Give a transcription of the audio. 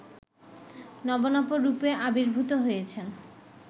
নব-নব রূপে আবির্ভূত হয়েছেন